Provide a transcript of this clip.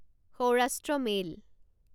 Saurashtra mail